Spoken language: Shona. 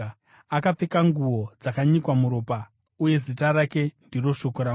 Akapfeka nguo dzakanyikwa muropa, uye zita rake ndiye Shoko raMwari.